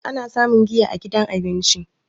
ana samun giya a gidan abinci